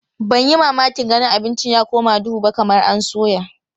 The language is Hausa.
Ban yi mamakin ganin abincin ya koma duhu ba kamar an soya.